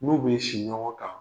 N'u bɛ si ɲɔgɔn kan.